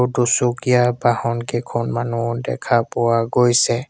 দুচকীয়া বাহন কেইখনমানো দেখা পোৱা গৈছে।